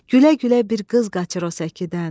Gülə-gülə bir qız qaçır o səkidən.